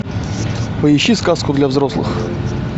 поищи сказку для взрослых